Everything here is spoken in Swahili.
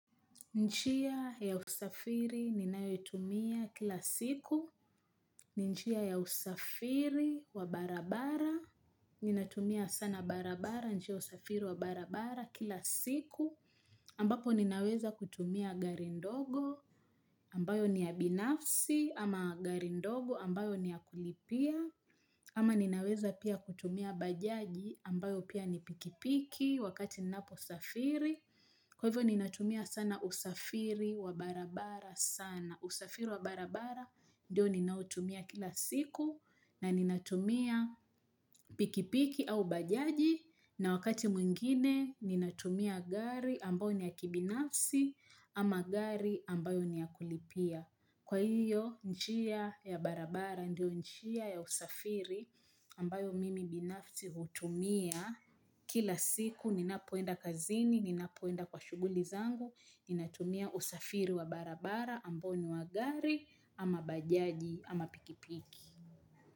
Njia ya usafiri ninayotumia kila siku. Ni njia ya usafiri wabarabara. Ninatumia sana barabara, njia usafiri wabarabara kila siku. Ambapo ninaweza kutumia garindogo ambayo ni ya binafsi ama garindogo ambayo ni ya kulipia. Ama ninaweza pia kutumia bajaji ambayo pia ni pikipiki wakati nnapo safiri. Kwa hivyo ni natumia sana usafiri wa barabara sana. Usafiri wa barabara ndio ninautumia kila siku na ni natumia pikipiki au bajaji na wakati mwingine ni natumia gari ambayo ni ya kibinafsi ama gari ambayo ni ya kulipia. Kwa hiyo njia ya barabara ndio njia ya usafiri ambayo mimi binafsi hutumia kila siku ninapoenda kazini, ninapoenda kwa shuguli zangu, ninatumia usafiri wa barabara ambo ni wa gari ama bajaji ama pikipiki.